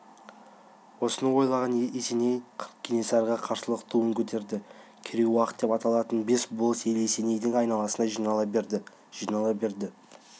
осыны ойлаған есеней кенесарыға қарсылықтың туын көтерді керей-уақ деп аталатын бес болыс ел есенейдің айналасына жинала берді жинала берді